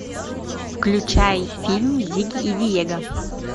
включай фильм зигги и диего